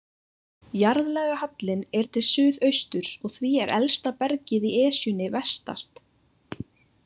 Jarðlagahallinn er til suðausturs og því er elsta bergið í Esjunni vestast.